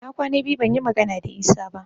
Na kwana biyu ban yi magana da Isa ba